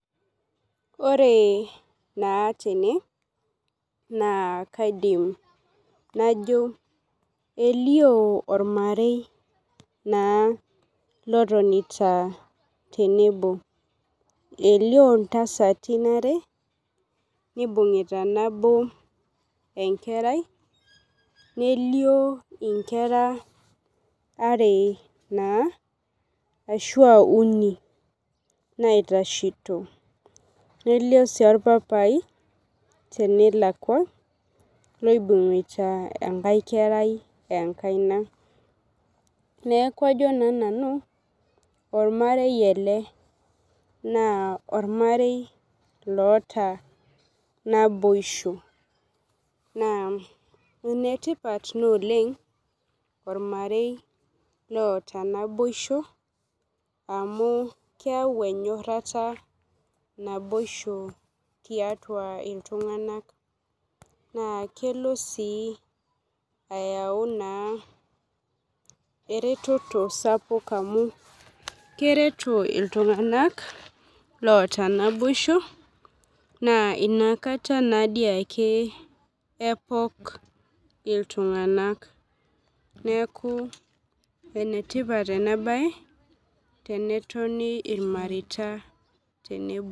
Ore naa tene naa kaidim najo elio ormarei naa lotonitaa naa tenebo. Elio intasatin are nibung'ita nabo enkerai nelio inkera are naa ashua uni naitashito. Nelio sii orpapai tenalakua loibung'ita enkae kerai enkaina. Neeku ajo naa nanu ormarei ele naa ormarei loota naboisho naa enetipat naa oleng' ormarei loota naboisho amu keyau enyorata naboisho tiatua iltung'anak naa kelo sii ayau naa ereteto sapuk amuu kereto iltung'ana loota naboisho naa inakataa nadii ake epok iltung'anak. Neeku ene tipat ena bae tenetonu irmareta tenebo.